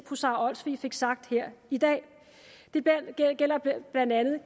fru sara olsvig fik sagt her i dag blandt andet med